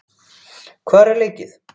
Hvar er leikið?